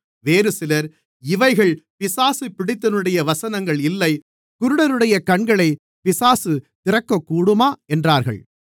வேறுசிலர் இவைகள் பிசாசு பிடித்தவனுடைய வசனங்கள் இல்லை குருடருடைய கண்களைப் பிசாசு திறக்கக்கூடுமா என்றார்கள்